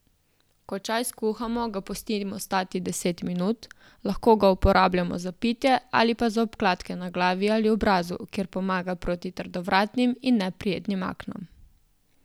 Ko čaj skuhamo ga pustimo stati deset minut, lahko ga uporabljamo za pitje ali pa za obkladke na glavi ali obrazu, kjer pomaga proti trdovratnim in neprijetnim aknam.